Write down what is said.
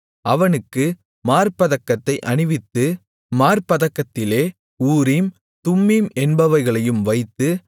அவனுக்கு மார்ப்பதக்கத்தை அணிவித்து மார்ப்பதக்கத்திலே ஊரீம் தும்மீம் என்பவைகளையும் வைத்து